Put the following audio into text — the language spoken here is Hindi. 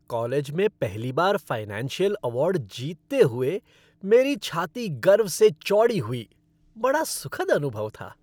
कॉलेज में पहली बार फ़ाइनेंशियल अवार्ड जीतते हुए मेरी छाती गर्व से चौड़ी हुई। बड़ा सुखद अनुभव था।